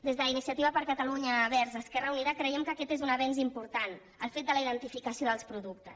des d’iniciativa per catalunya verds esquerra unida creiem que aquest és un avenç important el fet de la identificació dels productes